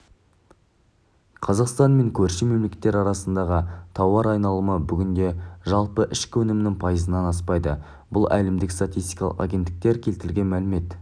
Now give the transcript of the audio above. қазақстан мен көрші мемлекеттер арасындағы тауар айналымы бүгінде жалпы ішкі өнімнің пайызынан аспайды бұл әлемдік статистикалық агенттіктер келтірген мәлімет